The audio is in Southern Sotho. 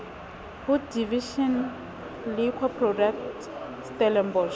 ho division liquor product stellenbosch